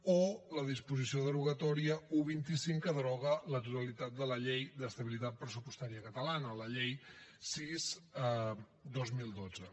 o la disposició derogatòria cent i vint cinc que deroga la totalitat de la llei d’estabilitat pressupostària catalana la llei sis dos mil dotze